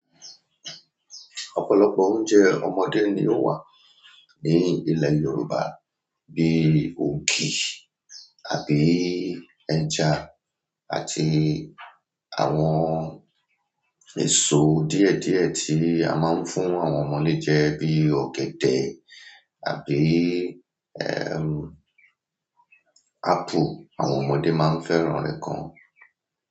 Ọ̀pọ̀lọpọ̀ oúnjẹ ọmọdé ni ó wà ní ilẹ̀ Yorùbá bí i ògì àbí ẹja àti àwọn èso díẹ̀díẹ̀ tí a máa ń fún àwọn ọmọdé jẹ bí i ọ̀gẹ̀dẹ̀ àbí ápù. Àwọn ọmọdé máa ń fẹ́ràn rẹ̀ gan.